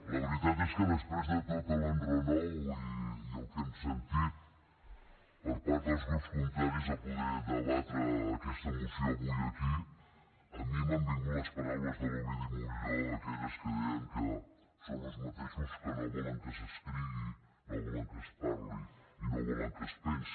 la veritat és que després de tot l’enrenou i el que hem sentit per part dels grups contraris a poder debatre aquesta moció avui aquí a mi m’han vingut les paraules de l’ovidi montllor aquelles que deien que són els mateixos que no volen que s’escrigui no volen que es parli i no volen que es pensi